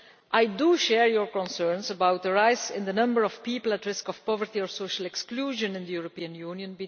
I share your concerns about the rise in the number of people at risk of poverty or social exclusion in the European Union.